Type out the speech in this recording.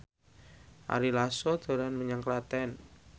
Ari Lasso dolan menyang Klaten